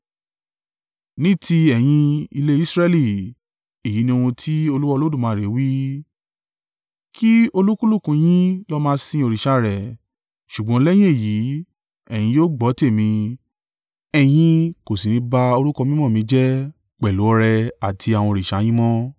“ ‘Ní tí ẹ̀yin, ilé Israẹli, èyí ni ohun tí Olúwa Olódùmarè wí: Kí olúkúlùkù yín lọ máa sìn òrìṣà rẹ̀, ṣùgbọ́n lẹ́yìn èyí, ẹ̀yin yóò gbọ́ tèmi, ẹ̀yin kò sí ní i bá orúkọ mímọ́ mi jẹ́ pẹ̀lú ọrẹ àti àwọn òrìṣà yín mọ́.